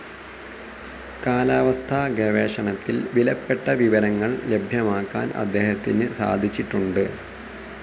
കാലാവസ്ഥാ ഗവേഷണത്തിൽ വിലപ്പെട്ട വിവരങ്ങൾ ലഭ്യമാക്കാൻ അദ്ദേഹത്തിന് സാധിച്ചിട്ടുണ്ട്.